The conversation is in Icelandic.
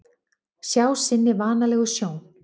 Sjá sinni vanalegu sjón.